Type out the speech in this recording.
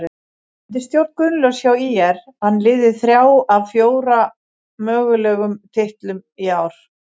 Undir stjórn Guðlaugs hjá ÍR vann liðið þrjá af fjóra mögulegum titlum í ár.